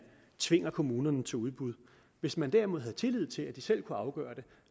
tvinger kommunerne til udbud hvis man derimod havde tillid til at de selv kunne afgøre det